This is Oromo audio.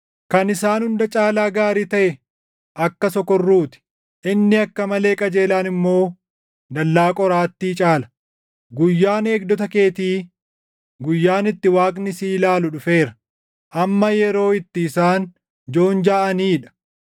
Kan isaan hunda caalaa gaarii taʼe akka sokorruu ti; inni akka malee qajeelaan immoo dallaa qoraattii caala. Guyyaan eegdota keetii, guyyaan itti Waaqni si ilaalu dhufeera. Amma yeroo itti isaan joonjaʼanii dha.